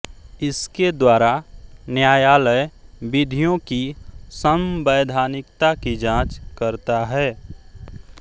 इसके द्वारा न्यायालय विधियों की संवैधानिकता की जाँच करता है